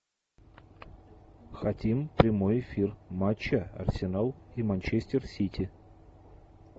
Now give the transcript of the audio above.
хотим прямой эфир матча арсенал и манчестер сити